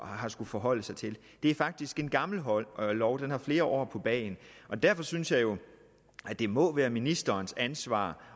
har skullet forholde sig til det er faktisk en gammel lov den har flere år på bagen og derfor synes jeg jo at det må være ministerens ansvar